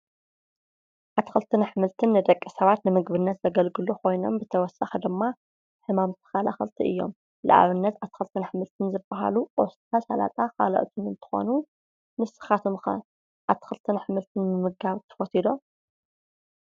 ኣትክልትን ኣሕምልትን ንደቂ ሰባት ንምግብነት ዘገልግሉ ኮይኖም ብተወሳኪ ድማ ሕማም ተከላከልቲ እዮም። ንኣብነት ኣትክልትን ኣሕምልትን ዝብሃሉ ቆስጣ፣ ስላጣ ካሎኦትን እንትኮኑ ንስካትኩም ከ ኣትክልትን ኣሕምልትን ምምጋብ ትፈትዉ ዶ?